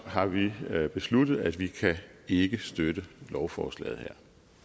har vi besluttet at vi ikke kan støtte lovforslaget